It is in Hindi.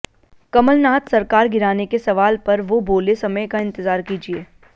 कमलनाथ सरकार गिराने के सवाल पर वो बोले समय का इंतज़ार कीजिए